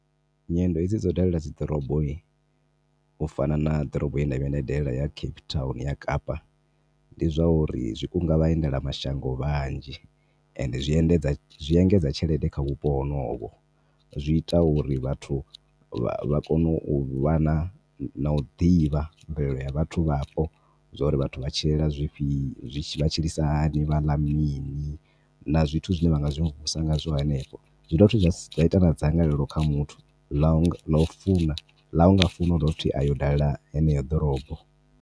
Nyendo hedzi dzau dalela dzi ḓorobo u fana na ḓorobo yenda vhuya ndai dalela ya Cape Town ya kapa ndi zwa uri zwi kunga vhaendelamashango vhanzhi ende zwi endedza zwi engedza tshelede kha vhupo honovho. Zwi ita uri vhathu vha vha kone u vha na u ḓivha mvelelo ya vhathu vhapo zwa uri vhathu vha tshilela zwifhio vha tshilisa hani vhaḽa mini na zwithu zwine vhangazwi hanefho zwi dovha futhi zwa ita na dzangalelo kha muthu ḽa u funa ḽa unga funa u dovha futhi a yo dalela heneyo ḓorobo.